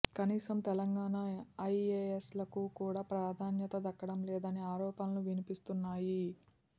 కనీసం తెలంగాణ ఐఏఎస్లకు కూడా ప్రాధాన్యత దక్కడం లేదనే ఆరోపణలు వినిపిస్తున్నాయి